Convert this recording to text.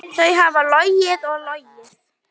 Þau hafa logið og logið.